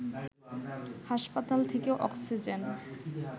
হাসপাতাল থেকে অক্সিজেন